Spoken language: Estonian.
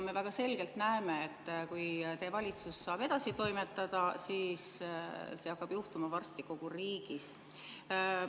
Me väga selgelt näeme, et kui teie valitsus saab edasi toimetada, siis see hakkab juhtuma varsti kogu riigis.